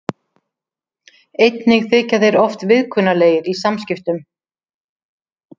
Einnig þykja þeir oft viðkunnanlegir í samskiptum.